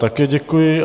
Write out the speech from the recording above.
Také děkuji.